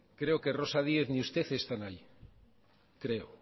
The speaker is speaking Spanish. creo que rosa díez ni usted están ahí creo